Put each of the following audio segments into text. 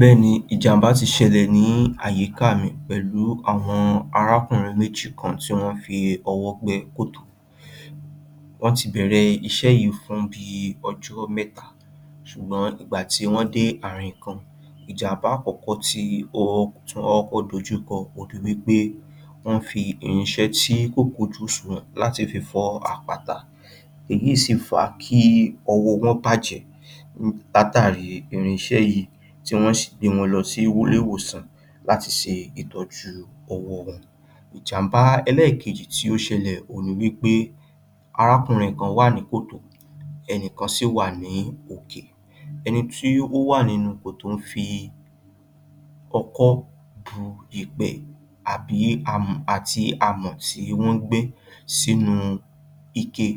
Bẹ́ẹ̀ ni, ìjàmbà ti ṣẹlẹ̀ ní àyíká mi pẹ̀lú àwọn arákùnrin méjì kan tí wọ́n ń fi ọwọ́ gbẹ́ kòtò. Wọ́n ti bẹ̀rẹ̀ iṣẹ́ yìí fún bíi ọjọ́ mẹ́ta ṣùgbọ́n ìgbà tí wọ́n dé ààrin kan, ìjàm̀bà àkọ́kọ́ tí wọ́n kọ́kọ́ dojúkọ òhun ni wí pé, wọ́n fi irinṣẹ́ tí kò kójú ọ̀ṣùnwọ̀n láti fi fọ́ àpáta. Èyí sì fà á kí ọwọ́ wọn tàjẹ́ látàri irinṣẹ́ yìí, tí wọ́n sì gbé wọn lọ sí ilé-ìwòsàn láti ṣe ìtọ́jú ọwọ́ wọn. Ìjàm̀bà ẹlẹ́kejì tí ó ṣẹlẹ̀ òhun ni wí pé, arákùnrin kan wà ní kòtò, ẹnìkan sì wà ní òkè. Ẹni tí ó wà nínú kòtò ń fi ọkọ́ bu èèpẹ̀ àbí àti amọ̀ tí wọ́n gbẹ́ sínú ike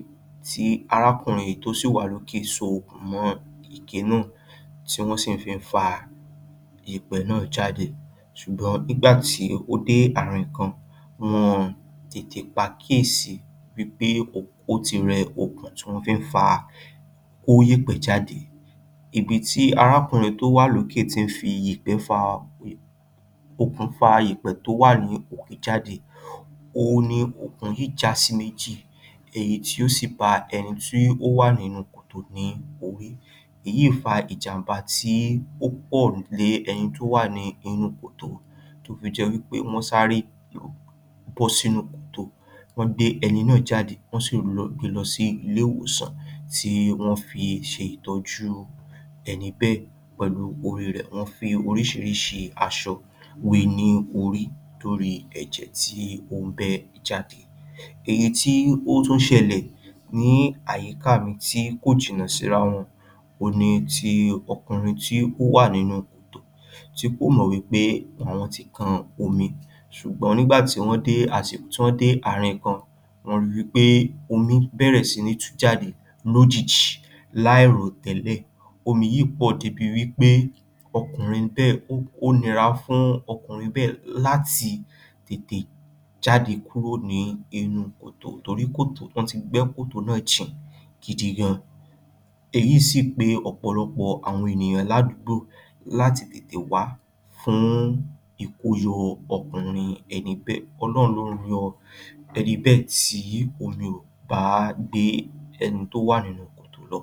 tí arákùnrin èyí tó sì wà lókè so okùn mọ́ ike náà, tí wọ́n sì fi ń fa èèpẹ̀ náà jáde. Ṣùgbọ́n nígbà tí ó dé ààrin kan, wọn ò tètè pàkíyèsí wí pé ó ti rẹ okùn ti wọ́n fi ń fa kó yẹ̀pẹ̀ jáde. Ibi tí arákùnrin tó wà lókè ti ń fi èèpẹ̀ fa um okùn fa èèpẹ̀ jáde, òhun ni okùn yìí já sí méjì, èyí tí ó sì ba ẹni tó wà nínú kòtò yìí ní orí. Èyí fa ìjàm̀bà tí ó pọ̀ ní ẹní tó wà ní inú kòtò, tó fi jẹ́ wí pé, wọ́n sáré um bọ́ sínú kòtò, wọ́n gbé ẹni náà jade. Wọ́n sì rù lọ gbé e lọ sí ilé-ìwòsàn tí wọ́n fi ṣe ìtọ́jú ẹni bẹ́ẹ̀ pẹ̀lú orí rẹ̀. Wọ́n fi oríṣiríṣi aṣọ wé e ní orí torí ẹ̀jẹ̀ tí ó ń bẹ́ jade. Èyí tí ó tún ṣẹlẹ̀ ní àyíká mi tí kò jìnnà síra wọn, òhun ni ti ọkùnrin tí ó wà nínú kòtò, tí kò mọ̀ wí pé òun ti kan omi. Ṣùgbọ́n nígbà tí wọ́n dé um ààrin kan, wọ́n ri pé omi bẹ̀rẹ̀ sí ní tú jade. Lójijì, láìrò tẹ́lẹ̀, omi yìí pọ̀ débi wí pé, ọkùnrin bẹ́ẹ̀, ó nira fún ọkùnrin bẹ́ẹ̀ láti tètè jade kúrò ní inú kòtò torí pé wọ́n ti gbẹ́ kòtò náà jìn gidi gan-an. Èyí sì pe ọ̀pọ̀lọpọ̀ ènìyàn ládùúgbò láti tètè wá fún ìkóyọ ọkùnrin ẹni bẹ́ẹ̀. Ọlọ́run ló yọ ẹni bẹ́ẹ̀ tí omi ò bá gbé ẹni tó wà nínú kòtò lọ.